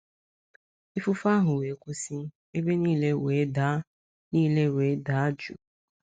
Ifufe ahụ wee kwụsị, ebe niile wee daa niile wee daa jụụ. ”